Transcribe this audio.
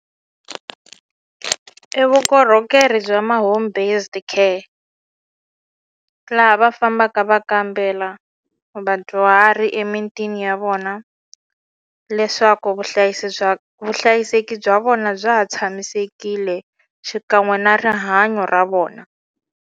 I vukorhokeri bya ma home based care laha va fambaka va kambela vadyuhari emitini ya vona leswaku vuhlayisi bya vuhlayiseki bya vona bya ha tshamisekile xikan'we na rihanyo ra vona.